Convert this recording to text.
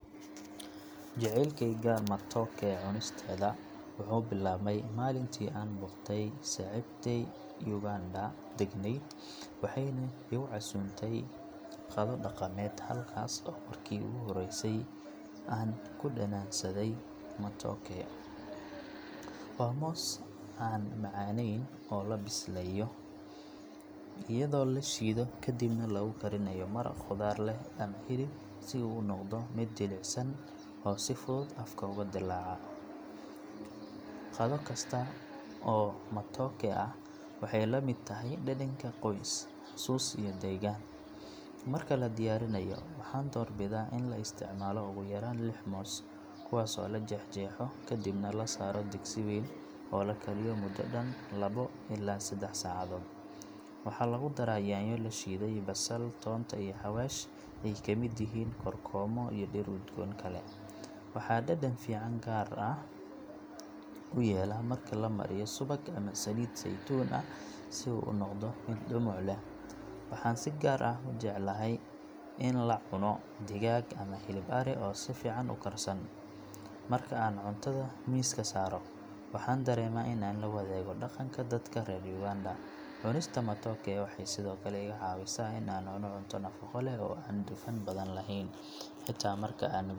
Jaceylkeyga matooke cunisteeda wuxuu bilaabmay maalintii aan booqday saaxiibtay Uganda deganayd waxayna igu casuuntay qado dhaqameed halkaas oo markii ugu horreysay aan ku dhadhansaday matooke. Waa moos aan macaanayn oo la bisleeyo iyadoo la shiido kadibna lagu karinayo maraq khudaar leh ama hilib si uu u noqdo mid jilicsan oo si fudud afka ugu dilaaca. Qado kasta oo matooke ah waxay la mid tahay dhadhanka qoys, xusuus iyo degganaan. Marka la diyaarinayo, waxaan doorbidaa in la isticmaalo ugu yaraan lix moos, kuwaas oo la jeexjeexo kadibna la saaro digsi weyn oo la kariyo muddo dhan laba illaa saddex saacadood. Waxaa lagu daraa yaanyo la shiiday, basal, toonta, iyo xawaash ay ka mid yihiin kookoroomo iyo dhir udgoon kale. Waxaa dhadhan gaar ah u yeela marka la mariyo subag ama saliid saytuun ah si uu u noqdo mid dhumuc leh. Waxaan si gaar ah u jeclahay in aan la cuno digaag ama hilib ari oo si fiican u karsan. Marka aan cuntada miiska saaro, waxaan dareemaa in aan la wadaagayo dhaqanka dadka reer Uganda. Cunista matooke waxay sidoo kale iga caawisaa in aan cuno cunto nafaqo leh oo aan dufan badan lahayn. Xitaa marka aan.